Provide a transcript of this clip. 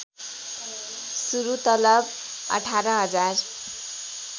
सुरू तलब १८०००